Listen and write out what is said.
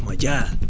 Qorxma gəl.